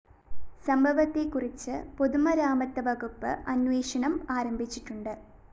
സംഭവത്തെക്കുറിച്ച് പൊതുമരാമത്ത് വകുപ്പ് അന്വേഷണം ആരംഭിച്ചിട്ടുണ്ട്